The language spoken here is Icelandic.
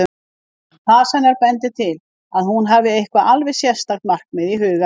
Fas hennar bendir til að hún hafi eitthvert alveg sérstakt markmið í huga.